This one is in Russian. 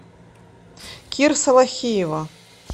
кир салахиева